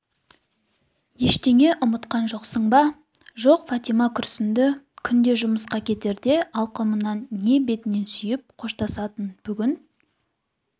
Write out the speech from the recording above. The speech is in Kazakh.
ештеңе ұмытқан жоқсың ба жоқ фатима күрсінді күнде жұмысқа кетерде алқымынан не бетінен сүйіп қоштасатын бүгін